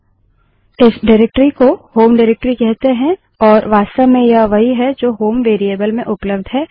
इस निर्देशिकाडाइरेक्टरी को होम निर्देशिकाडाइरेक्टरी कहते हैं और यह वास्तव में यह वही है जो होम वेरिएबल में उपलब्ध है